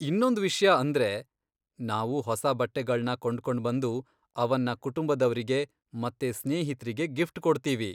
ಇನ್ನೊಂದ್ ವಿಷ್ಯ ಅಂದ್ರೆ, ನಾವು ಹೊಸ ಬಟ್ಟೆಗಳ್ನ ಕೊಂಡ್ಕೊಂಡ್ಬಂದು ಅವನ್ನ ಕುಟುಂಬದವ್ರಿಗೆ ಮತ್ತೆ ಸ್ನೇಹಿತ್ರಿಗೆ ಗಿಫ್ಟ್ ಕೊಡ್ತೀವಿ.